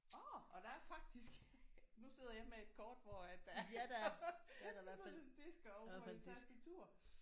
Åh! Og der er faktisk nu sidder jeg med et kort hvor at der er både en disk og et tastatur!